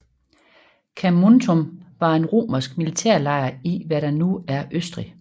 Carnuntum var en romersk militærlejr i hvad der nu er Østrig